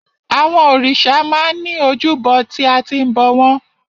Àwọn òrìṣà máa ń ní ojúbọ tí a ti ń bọ̀ wọ́n.